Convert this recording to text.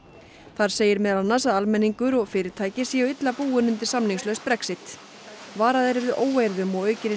þar segir meðal annars að almenningur og fyrirtæki séu illa búin undir samningslaust Brexit varað er við óeirðum og aukinni